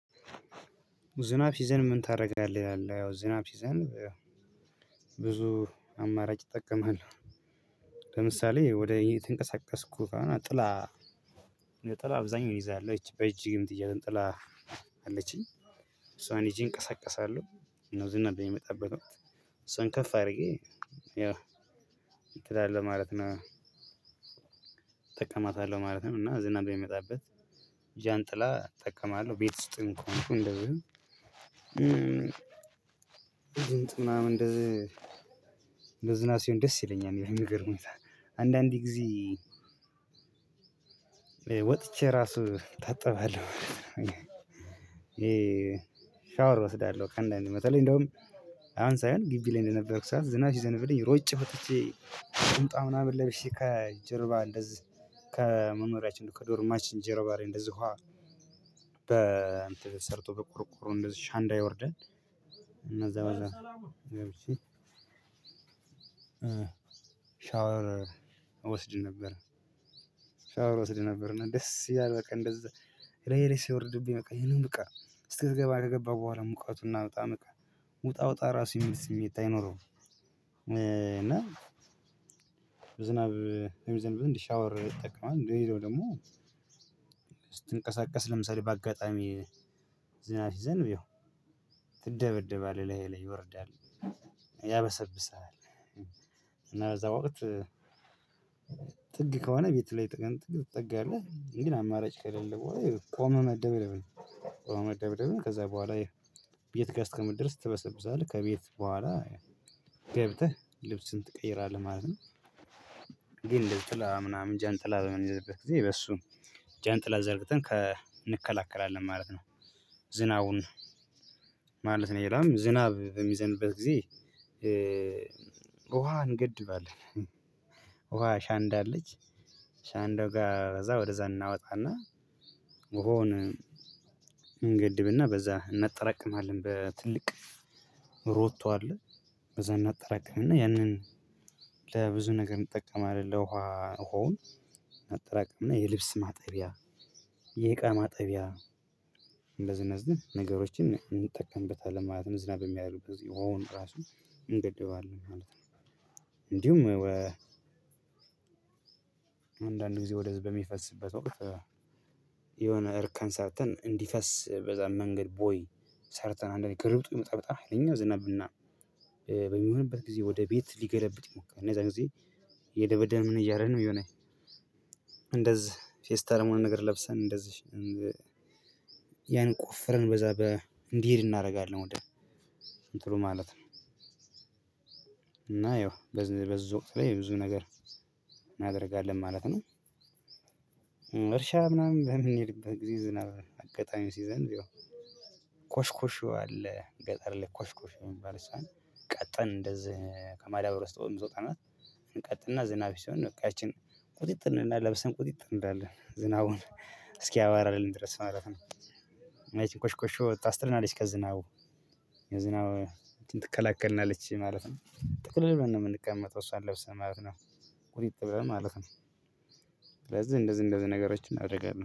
ዝናብ ሲዘንብ ምን ታደርጋለህ? ይላል ያው ዝናብ ሲዘንብ ብዙ አማራጭ እጠቀማለሁ ለምሳሌ ወደ የት እንቀሳቀስኩ ከሆነ ጥላ ለጥላ አብዛኛው ይዛለሁ በእጅየምትያዝ ዣንጥላ አለችኝ እሷን ይዤ እንቀሳቀሳለሁ። ነው ዝናብ በሚመጣበት ወቅት እሷን ከፍ አድርጌ ያ እንትን አለ ማለት ነው እጠቀማታለሁ ማለት ነው። እና ዝናብ በሚመጣበት ዣንጥላ እጠቀማለሁ ቤት ውስጥም እኮ ነው። እንደውም እንደዚህ እንደዚህ ዝናብ ሲሆን ደስ ይለኛል በሚገርም ሁኔታ አንዳንድ ጊዜ ወጥቼ ራሱ እታጠባለሁ። ሻወር እወስዳለሁ ከአንዳንዴ በተለይ እንዲያውም አሁን ሳይሆን ግቢ ላይ በነበርኩ ሰዓት ዝናብ ሲዘንብ ሮጬ ወጥቼ ቁንጣ ምናምን ለብሼ ከጀርባ እንደዚህ ከመኖርያችን ከዶርማችን ጀርባ ላይ እንደዚሁ ውሃ በ እንትን ተሰርቶ በቆርቆሮ አሸንዳ ይወርዳል። እና እዛ በዛ ገብቼ ሻወር እወስድ ነበር ሻወር እወስድ ነበር እና ደስ ይላል። በቃ እንደዛ ላይህ ላይ ሲወርድብኝ በቃ ይሄንን በቃ ስትገባ ከገባህ በኃላ ሙቀቱና በጣም ውጣ ውጣ ራሱ የሚል ስሜት የለኝም። ዝናብ የሚዘንብ ሻወር ይጠቀማል እንደሌለው ደግሞ ስትንቀሳቀስ ለምሳሌ በአጋጣሚ ዝናት ይዘን ብዬው ትደበደባለህ ላይ ላይ ይወርዳል ያበሰብስሃል እና በዛ ወቅት። ጥግ ከሆነ ቤት ላይ ጥግ ጥግ አለ ግን ለአማራጭ ከሌለ በኋላ ቆመ መደብደብን ከዛ በኋላ ቤት ጋር እስከምትደርስ ትበሰብሳለህ ከቤት በኋላ ገብተህ ልብስህን ትቀይራለህ ማለት ነው። ግን ለጥላ ምናምን ዣንጥላ በምንይዘበት ጊዜ በሱ ዣንጥላ ዘርግተን እንከላከላለን ማለት ነው። ዝናቡን ማለት ነው ሌላም ዝናብ በሚዘንብበት ጊዜ ውሃ እንገድባለን። ውሃ አሻንዳ አለች አሸንዳ ጋር እዛ ወደዛ እናወጣና በሆነ እንገድብና በዛ እናጠራቅማለን በትልቅ ሮቶ አለ እዛ እናጠራቅምና ያንን ለብዙ ነገር እንጠቀማለን ለውሃ ሆነ ማጠራቀም እና የልብስ ማጠቢያ የእቃ ማጠቢያ እንዝነዝን ነገሮችን እንጠቀምበታለን። ማለትም ዝናብ የሚያደርጉ በዚህ ኦን ራሱ እንገድበዋለን ማለት ነው። እንዲሁም አንዳንድ ጊዜ ወደዚህ በሚፈስበት ወቅት የሆነ እርከን ሰርተን እንዲፈስ በዛ መንገድ ቦይ ሰርተን አንዳንዴ ክርብጡ ይመጣብጣል የኛው ዝናብና በሚሆንበት ጊዜ ወደ ቤት ሊገለብጥ ይሞክራል እነዛ ጊዜ የደበደብን እያረነ የሆነ እንደዚህ ፌስታር መሆን ነገር ለብሰን እንደዚህ ያን ቆፍረን በዛ እንዲሄድ እናደርጋለን ወደ እንትኑ ማለት ነው። እና ያው በዝውውት በይ ብዙ ነገር እናደርጋለን ማለት ነው። እርሻ ምናምን በምንሄድበት ጊዜ ዝናብ አጋጣሚው ሲዘንብ ይው ቆሽቆሽው አለ ገጠር ላይ ቆሽቆሽው የሚባል ሳን እንደዚህ ከማዳብረስ ተወምዞታናት እንቀጥንና ዝናብ ሲሆን ነው እቃችን ቁጥጥን እና ለብሰን ቁጥጥር እንዳለ ዝናቡን እስኪ ያዋራልን ድረስ ማለት ነው። አይ ቲንክ ኮሽኮሽ ወጣ አስትረናሊስከን ከዝናው የዝናው እንትን ትከላከልናለች ማለት ነው ጥቅል ልበን ነው የምንቀመጠው እሷን ለብሰን ማለት ነው ቁሪጥ በማለት ነው። ስለዚህ እንደዚህ እንደዚህ ነገሮችን አደርጋለሁ